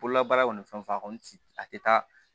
Bololabaara kɔni fɛn fɛn a kɔni ti a tɛ taa